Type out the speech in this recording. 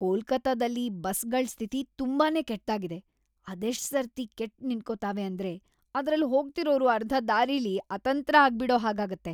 ಕೊಲ್ಕತ್ತಾದಲ್ಲಿ ಬಸ್‌ಗಳ್ ಸ್ಥಿತಿ ತುಂಬಾನೇ ಕೆಟ್ದಾಗಿದೆ! ಅದೆಷ್ಟ್‌ ಸರ್ತಿ ಕೆಟ್‌ ನಿಂತ್ಕೋತಾವೆ ಅಂದ್ರೆ ಅದ್ರಲ್ಲ್ ಹೋಗ್ತಿರೋರು ಅರ್ಧ ದಾರಿಲಿ ಅತಂತ್ರ ಆಗ್ಬಿಡೋ ಹಾಗಾಗತ್ತೆ.